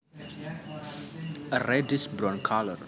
A reddish brown color